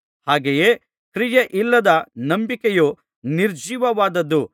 ಹಾಗೆಯೇ ಕ್ರಿಯೆಗಳಿಲ್ಲದ ನಂಬಿಕೆಯು ನಿರ್ಜೀವವಾದದು